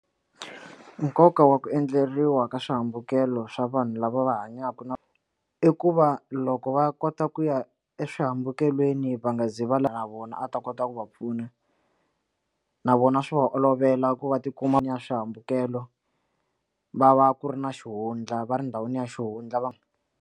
Nkoka wa ku endleriwa ka swihambukelo swa vanhu lava va hanyaka na i ku va loko va kota ku ya eswihambukelweni va nga zi va lwa na vona mina a ta kota ku va pfuna na vona swi va olovela ku va ti kuma ni ya swihambukelo va va ku ri na xihundla va ri ndhawini ya xihundla va.